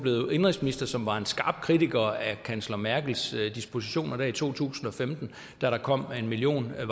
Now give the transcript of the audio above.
indenrigsminister som var en skarp kritiker af kansler merkels dispositioner i to tusind og femten da der kom en million